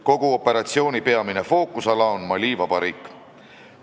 Kogu operatsiooni peamine fookusala on Mali Vabariik.